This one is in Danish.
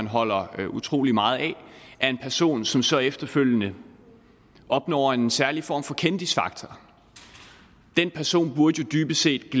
holder utrolig meget af af en person som så efterfølgende opnår en særlig form for kendisfaktor den person burde jo dybest set